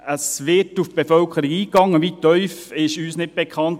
Es wird auf die Bevölkerung eingegangen – wie tiefgehend ist uns nicht bekannt.